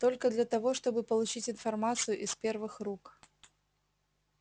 только для того чтобы получить информацию из первых рук